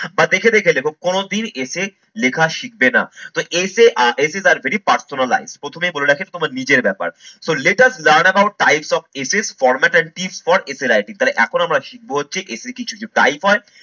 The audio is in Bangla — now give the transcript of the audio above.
বা দেখে দেখে লেখো কোনদিন essay লেখা শিখবে না। তো essay আহ essay টা very personalize প্রথমেই বলে রাখি তোমার নিজের ব্যাপার so let us learn about types of essay, format and tips for essay writing তাহলে এখন আমরা শিখবো হচ্ছে essay কিছু কি type হয়